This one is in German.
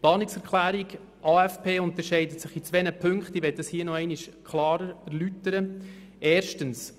Die Planungserklärung zum AFP unterscheidet sich in zwei Punkten, welche ich nochmals erläutern möchte.